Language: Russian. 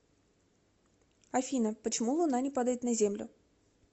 афина почему луна не падает на землю